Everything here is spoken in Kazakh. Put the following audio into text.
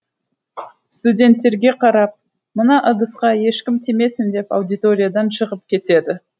студенттерге қарап мына ыдысқа ешкім тимесін деп аудиториядан шығып кетеді